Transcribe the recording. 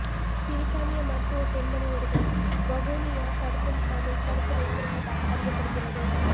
பிரித்தானிய மருத்துவ பெண்மனி ஒருவர் வவுனியா தடுப்பு முகாமில் தடுத்து வைத்திருப்பதாக அறியப்படுகிறது